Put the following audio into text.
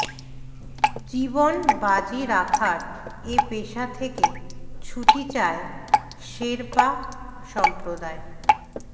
জীবন বাজি রাখার এ পেশা থেকে ছুটি চায় শেরপা সম্প্রদায়